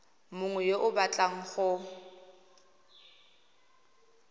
mongwe yo o batlang go